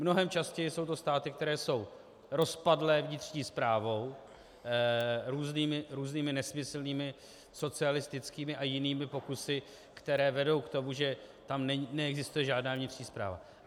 Mnohem častěji jsou to státy, které jsou rozpadlé vnitřní správou, různými nesmyslnými socialistickými a jinými pokusy, které vedou k tomu, že tam neexistuje žádná vnitřní správa.